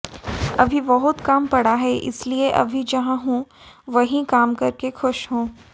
अभी बहुत काम पड़ा है इसलिए अभी जहां हूं वहीं काम करके खुश हूं